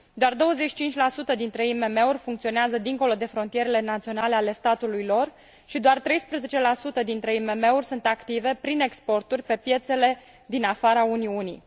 Doar 25 dintre IMM uri funcționează dincolo de frontierele naționale ale statului lor și doar 13 dintre IMM uri sunt active prin exporturi pe piețele din afara Uniunii.